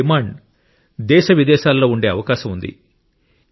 వాటి డిమాండ్ దేశ విదేశాలలో ఉండే అవకాశం ఉంది